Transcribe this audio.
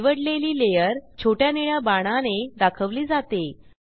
निवडलेली लेयर छोट्या निळ्या बाणाने दाखवली जाते